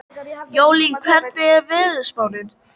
Jólín, hvernig er veðurspáin?